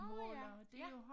Nå ja ja